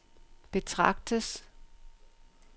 betragtes